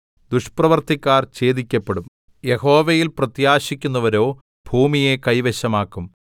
ദുഷ്പ്രവൃത്തിക്കാർ ഛേദിക്കപ്പെടും യഹോവയിൽ പ്രത്യാശിക്കുന്നവരോ ഭൂമിയെ കൈവശമാക്കും